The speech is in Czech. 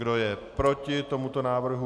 Kdo je proti tomuto návrhu?